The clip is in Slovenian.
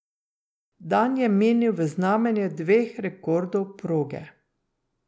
Dan je minil v znamenju dveh rekordov proge.